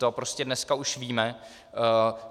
To prostě dneska už víme.